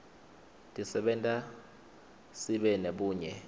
tisenta sibe nebunye